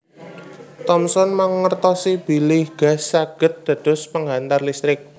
Thomson mangertosi bilih gas saged dados penghantar listrik